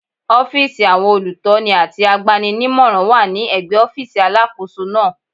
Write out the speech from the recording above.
Ọ́fíìsì àwọn olùtọ́ni àti agbani-nímọ̀ràn wà ní ẹ̀gbẹ́ ọ́fíìsì Alákóso náà.